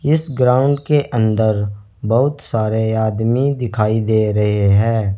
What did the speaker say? इस ग्राउंड के अंदर बहुत सारे आदमी दिखाई दे रहे हैं।